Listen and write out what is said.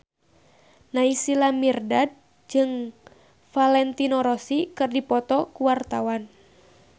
Naysila Mirdad jeung Valentino Rossi keur dipoto ku wartawan